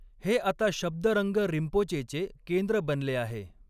हे आता शब्दरंग रिंपोचेचे केंद्र बनले आहे.